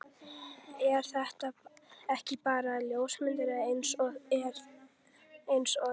Er þetta ekki bara ljómandi eins og þetta er?